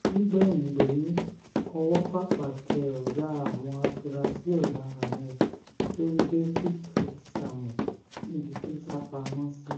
nígbẹ̀yìn gbẹ́yín ọwọ́ pápá tẹ ọ̀gá àwọn afurasí ọ̀daràn yẹn tó ń jẹ́ victor samuel níbi tó sá pamọ́ sí